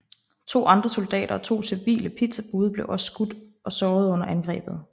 To andre soldater og to civile pizzabude blev også skudt og sårede under angrebet